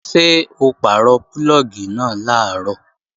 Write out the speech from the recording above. Ṣé o pàrọ̀ púlọ̀gì náà làárọ̀?